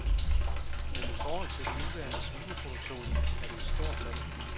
Men i forhold til den nuværende svineproduktion er det et stort tal.